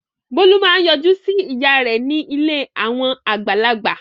Bólú máa ń yọjú sí ìyá rẹ̀ ní ilé àwọn àgbàlagbà.